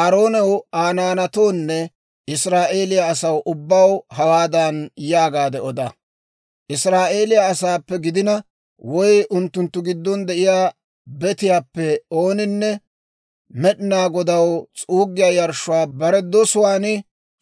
«Aaroonaw, Aa naanatoonne Israa'eeliyaa asaa ubbaw hawaadan yaagaade oda; ‹Israa'eeliyaa asaappe gidina woy unttunttu giddon de'iyaa betiyaappe ooninne Med'inaa Godaw s'uuggiyaa yarshshuwaa bare dosuwaan